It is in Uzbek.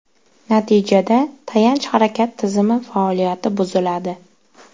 Natijada tayanch-harakat tizimi faoliyati buziladi.